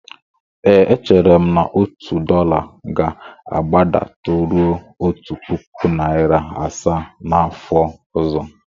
Ee, echere m na otu dọla ga-agbadataruo otu puku naịra asaa n'afọ ọzọ.